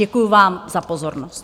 Děkuji vám za pozornost.